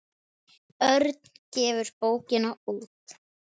Örn gefur bókina út.